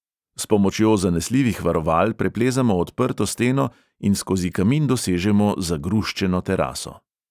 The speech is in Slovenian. S pomočjo zanesljivih varoval preplezamo odprto steno in skozi kamin dosežemo zagruščeno teraso.